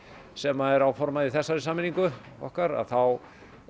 sem er áformað í þessari sameiningu okkar þá